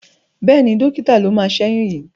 Bẹ́ẹ̀ni, dọ́kítà ló máa ṣẹ́yún yìí.